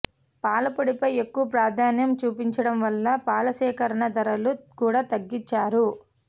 పాలపొడిపై ఎక్కువ ప్రాధాన్యం చూపించడం వల్ల పాలసేకరణ ధరలు కూడా తగ్గించారు